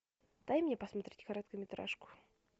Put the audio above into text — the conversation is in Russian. дай мне посмотреть короткометражку